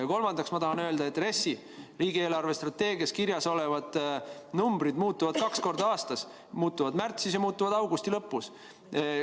Ja kolmandaks ma tahan öelda, et RES-is, riigi eelarvestrateegias kirjas olevad numbrid muutuvad kaks korda aastas: muutuvad märtsis ja muutuvad augusti lõpus.